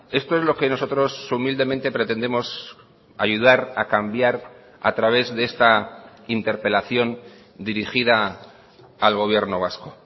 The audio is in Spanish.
esto es lo que nosotros humildemente pretendemos ayudar a cambiar a través de esta interpelación dirigida al gobierno vasco